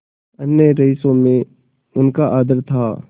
अन्य रईसों में उनका आदर था